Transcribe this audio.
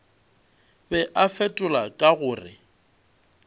be a fetola ka gore